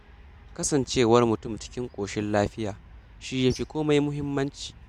Kasancewar mutum cikin ƙoshin lafiya, shi ya fi komai muhimmanci.